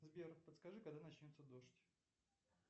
сбер подскажи когда начнется дождь